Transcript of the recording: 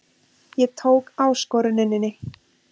Ég tók áskoruninni.